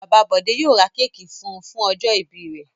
Bàbá Bọ̀dé yóò ra kéékì fún un fún ọjọ́-ìbí rẹ̀.